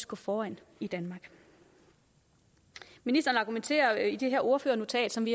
gå foran i danmark ministeren argumenterer i det her ordførernotat som